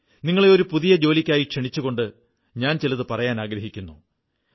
നിങ്ങളെ ഒരുപുതിയ ജോലിക്കായി ക്ഷണിച്ചുകൊണ്ട് ഞാൻ ചിലതു പറയാനാഗ്രഹിക്കുന്നു